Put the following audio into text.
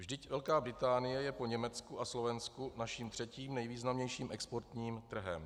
Vždyť Velká Británie je po Německu a Slovensku naším třetím nejvýznamnějším exportním trhem.